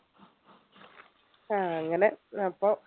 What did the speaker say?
ആഹ് അങ്ങനെ അപ്പൊ